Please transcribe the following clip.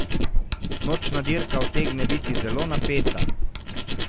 Nočna dirka utegne biti zelo napeta.